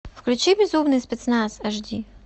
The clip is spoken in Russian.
включи безумный спецназ аш ди